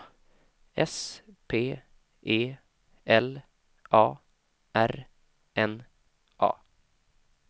S P E L A R N A